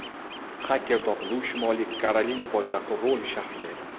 Xaker topildi, u Shimoliy Karolina poytaxti Roli shahrida edi.